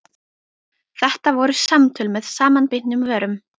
Þetta voru samtöl með samanbitnum vörum.